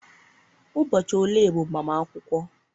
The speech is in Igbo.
Ụbọchị ole bụ mgbamakwukwo